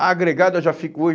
Ah, agregado eu já fico hoje?